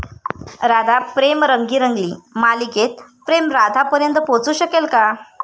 राधा प्रेम रंगी रंगली' मालिकेत प्रेम राधापर्यंत पोहचू शकेल का?